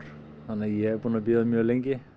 þannig að ég er búinn að bíða mjög lengi